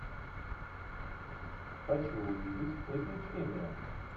хочу увидеть приключения